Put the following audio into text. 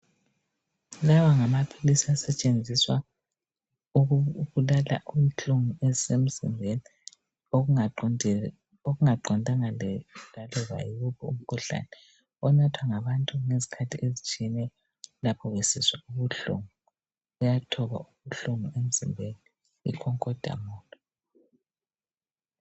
Lawa ngamaphilisi asetshenziswa ukubulala inhlungu ezisemzimbeni okuqondanga laloba yiwuphi umkhuhlane onathwa ngabantu ngezikhathi ezitshiyeneyo lapho besizwa ubuhlungu. Kuyathoba ubuhlungu emzimbeni ico-codamol.